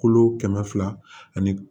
Kolo kɛmɛ fila ani